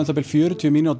bil fjörutíu mínútur